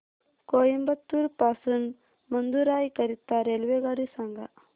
कोइंबतूर पासून मदुराई करीता रेल्वेगाडी सांगा